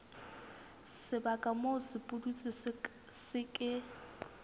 sebaka moo sepudutsi se ke